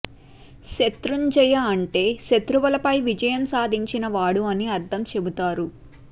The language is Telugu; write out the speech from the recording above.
శత్రున్జయ అంటే శత్రువుల పై విజయం సాధించిన వాడు అని అర్ధం చెపుతారు